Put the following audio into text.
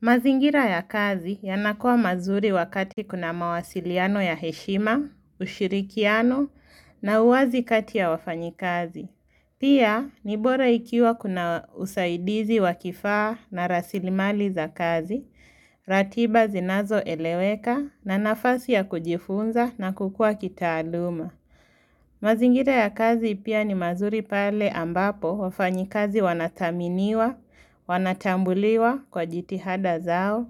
Mazingira ya kazi yanakua mazuri wakati kuna mawasiliano ya heshima, ushirikiano na uwazi kati ya wafanyi kazi. Pia nibora ikiwa kuna usaidizi wakifaa na rasilimali za kazi, ratiba zinazo eleweka na nafasi ya kujifunza na kukua kitaaduma. Mazingira ya kazi ipia ni mazuri pale ambapo wafanyi kazi wanathaminiwa, wanatambuliwa kwa jitihada zao